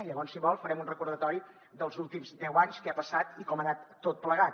llavors si vol farem un recordatori dels últims deu anys què ha passat i com ha anat tot plegat